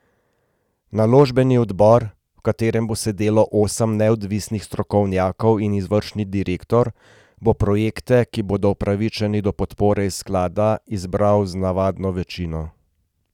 Naložbeni odbor, v katerem bo sedelo osem neodvisnih strokovnjakov in izvršni direktor, bo projekte, ki bodo upravičeni do podpore iz sklada, izbiral z navadno večino.